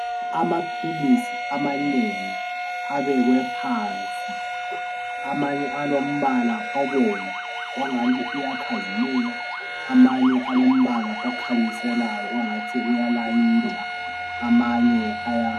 amaphilisi amanengi abekwe phansi amanye alombala obomvu ongathi uyakhazimula amanye alombala okhanyiselayo ongathi uyalayitha amanye aya